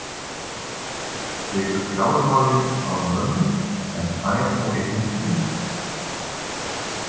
Tekur fjármálin af mömmu en fær þá í hendur innkaupin.